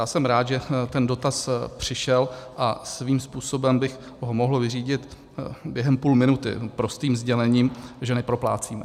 Já jsem rád, že ten dotaz přišel, a svým způsobem bych ho mohl vyřídit během půl minuty prostým sdělením, že neproplácíme.